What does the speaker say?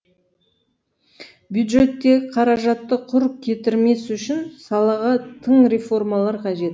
бюджеттегі қаражатты құр кетірмес үшін салаға тың реформалар қажет